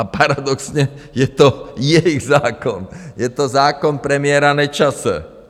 A paradoxně je to jejich zákon, je to zákon premiéra Nečase.